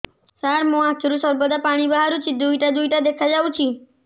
ସାର ମୋ ଆଖିରୁ ସର୍ବଦା ପାଣି ବାହାରୁଛି ଦୁଇଟା ଦୁଇଟା ଦେଖାଯାଉଛି